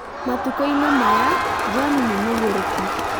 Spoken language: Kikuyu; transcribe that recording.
Matukũ-inĩ maya John nĩ mũgurũkĩ